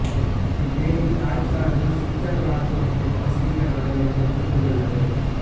இவ் ஏரி Deutschland Switzerland மற்றும் ஆஸ்திரியா நாடுகளைத் தொட்டுக்கொண்டுள்ளது